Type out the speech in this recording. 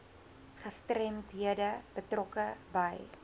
gestremdhede betrokke by